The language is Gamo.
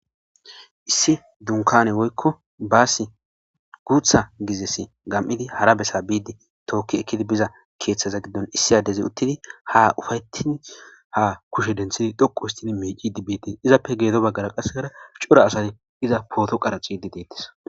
issi dunkane woykko baassi guutha gizes gam7idi hara bessa biidi tookki ekkidi biza keeththaza giddon issi adezi uttidi ha ufayetin ha kushe denthidi dhoqu histini miici dibbiidie izappe geedo baggara qasegara cora asati iza pooto qaraciidi deettis